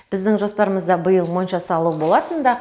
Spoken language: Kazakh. біздің жоспарымызда биыл монша салу болатын да